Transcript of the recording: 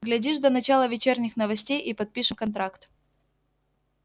глядишь до начала вечерних новостей и подпишем контракт